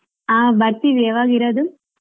ಹಾ ಬರ್ತೀವಿ ಯಾವಾಗ ಇರೋದು?